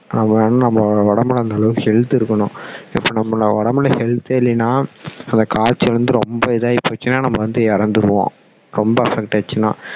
நம்ம என்ன நம்ம உடம்புல நல்ல health இருக்கணும் இப்போ நம்ம உடம்புல health ஏ இல்லன்னா அந்த காய்ச்சல் வந்து ரொம்ப இதாகி போச்சுன்னா நம்ம வந்து இறந்துடுவோம் ரொம்ப affect ஆயிடுச்சின்னா